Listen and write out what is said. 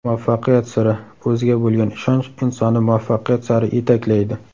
Muvaffaqiyat siri: O‘ziga bo‘lgan ishonch insonni muvaffaqiyat sari yetaklaydi.